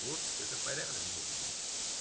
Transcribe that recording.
вот это порядок должен быть